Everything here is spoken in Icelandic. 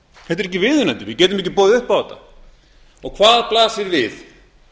þetta er ekki viðunandi við getum ekki boðið upp á þetta hvað blasir við